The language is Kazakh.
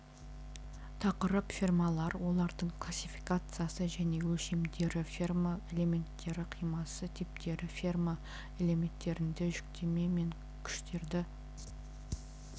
тақырып фермалар олардың классификациясы және өлшемдері ферма элементтері қимасы типтері ферма элементтерінде жүктеме мен күштерді